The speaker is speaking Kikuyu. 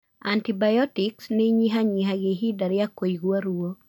Antibiotics nĩ ĩnyihanyihagia ihinda rĩa kuigwa ruo.